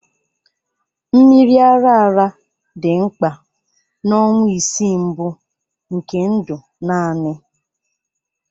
Mmiri ara ara dị mkpa na ọnwa isii mbụ nke ndụ naanị